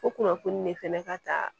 O kunnafoni de fɛnɛ ka ta